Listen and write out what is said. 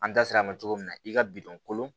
An da sera a ma cogo min na i ka bidɔn kolon